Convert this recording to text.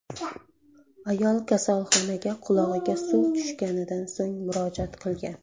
Ayol kasalxonaga qulog‘iga suv tushganidan so‘ng murojaat qilgan.